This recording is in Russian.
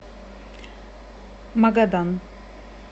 магадан